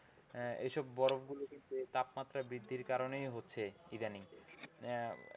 এসব বরফগুলো কিন্তু এই তাপমাত্রা বৃদ্ধির কারণেই হচ্ছে ইদানিং।